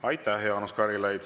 Aitäh, Jaanus Karilaid!